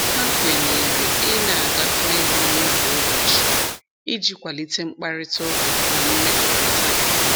Ha kwenyere ị na-agakọ ihe ọnụ kwa ụbọchị iji kwalite mkparịtaụka na mmekọrịta.